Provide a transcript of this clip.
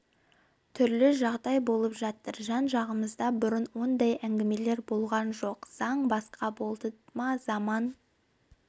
түрлі жағдай болып жатыр жан-жағымызда бұрын ондай әңгімелер болған жоқ заң басқа болды ма заман